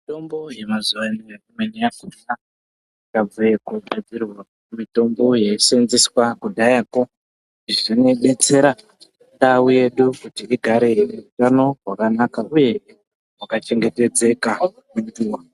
Mitombo yemazuwa ano imweni yakhona yabve mukugadzirwa kubva kumitombo yaiseenzeswa kudhayakwo. Izvi zvinodetsera ndau yedu igare ine utano hwakanaka uye hwakachengetedzeka.